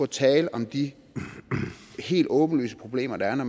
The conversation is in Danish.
tale om de helt åbenlyse problemer der er når